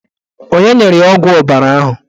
Onye nyere ya ọgwụ ọbara ahụ?